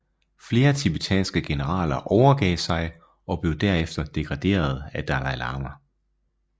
Flere tibetanske generaler overgav sig og blev derefter degraderede af Dalai Lama